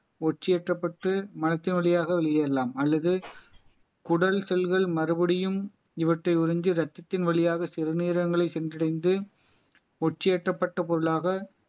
ஒற்றி ஏற்றப்பட்டு மரத்தின் வழியாக வெளியேறலாம் அல்லது குடல் செல்கள் மறுபடியும் இவற்றை உறிஞ்சி ரத்தத்தின் வழியாக சிறுநீரகங்களை சென்றடைந்து உச்சியேற்றப்பட்ட பொருளாக